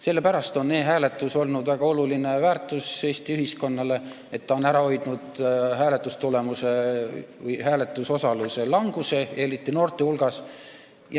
Sellepärast on e-hääletus olnud väga oluline väärtus Eesti ühiskonnale, ta on ära hoidnud hääletusosaluse languse, eriti noorte hulgas.